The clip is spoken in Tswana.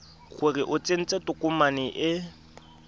gore o tsentse tokomane e